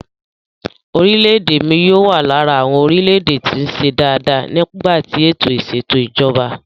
Orílè èdè mi yóò wà lára àwọn orílẹ̀-èdè tí ń ṣe dáa dáa nípa tí ètò ìsètò ìjọba.